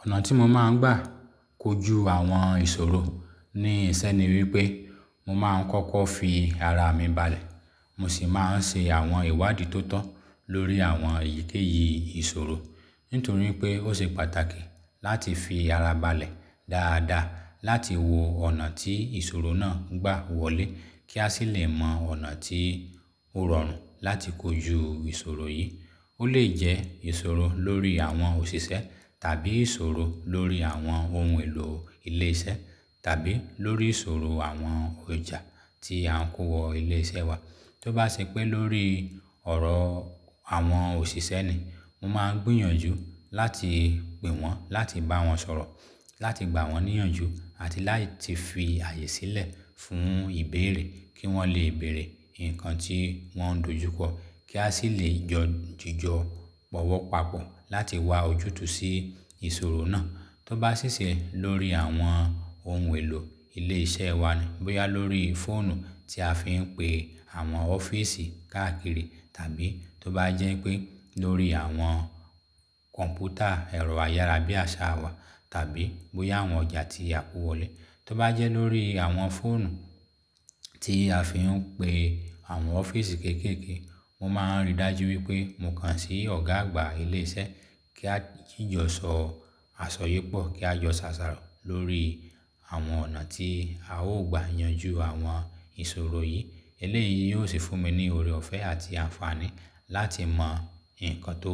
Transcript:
Ọ̀nà tí mo máa ń gbà kojú àwọn ìṣòro ní ìṣe ni wípé mo máa ń kọ́kọ́ fi ara mi balẹ̀. Mo sì máa ń ṣe àwọn ìwádìí tó tọ́ lórí àwọn èyíkéyìí ìṣòro. Nítorí pé ó ṣe pàtàkì láti fi ara balẹ̀ dáadáa láti wo ọ̀nà tí ìṣòro náà gbà wọlé, kí a sì lè mọ ọ̀nà tí ó rọrùn láti kojú ìṣòro yìí. Ó lè jẹ́ ìṣòro lórí àwọn òṣìṣẹ́ tàbí ìṣòro lórí àwọn ohun èlò ilé iṣẹ́ tàbí lórí ìṣòro àwọn ọjà tí à ń kó wọ ilé iṣẹ́ wa. Tó bá ṣe pé lórí ọ̀rọ̀ àwọn òṣìṣẹ́ ni, mo máa ń gbìyànjú láti pè wọ́n, láti bá wọn sọ̀rọ̀, láti gbà wọ́n níyànjú àti láti fi ààyè sílẹ̀ fún ìbéèrè kí wọ́n lè béèrè nǹkan tí wọ́n ń dojú kọ. Kí a sì lè jọ jijọ bọ̀wọ̀ papọ̀ láti wá ojútùú sí ìṣòro náà. Tó bá ṣí ṣẹ́ lórí àwọn ohun èlò ilé iṣẹ́ wa ni, bóyá lórí fóònù tí a fi ń pe àwọn ọ́fíìsì káàkiri tàbí tó bá jẹ́ pé lórí àwọn kọ̀m̀pútà ẹ̀rọ ayára bí àṣá wa tàbí bóyá àwọn ọjà tí a kó wọlé. Tó bá jẹ́ lórí àwọn fóònù tí a fi ń pe àwọn ọ́fíìsì kéékèèké, mo máa ń rí dájú wípé mo kan sí ọ̀gá àgbà ilé iṣẹ́ kí a jíjọ̀ sọ àṣọyépọ̀ kí a jọ s'àsàrò lórí àwọn ọ̀nà tí a ó gbà yanjú àwọn ìṣòro yìí. Eléyìí yóò sì fún mi ní oore ọ̀fẹ̀ àti àǹfààní láti mọ nǹkan tó